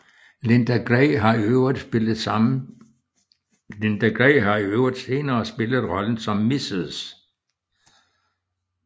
Linda Gray har i øvrigt senere spillet rollen som Mrs